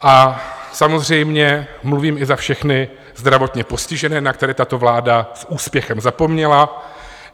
A samozřejmě mluvím i za všechny zdravotně postižené, na které tato vláda s úspěchem zapomněla.